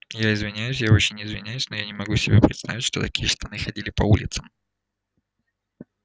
я извиняюсь я очень извиняюсь но я не могу себе представить что такие штаны ходили по улицам